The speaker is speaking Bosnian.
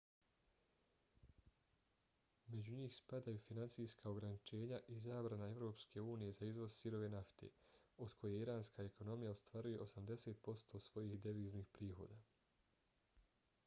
među njih spadaju financijska ograničenja i zabrana evropske unije za izvoz sirove nafte od koje iranska ekonomija ostvaruje 80% svojih deviznih prihoda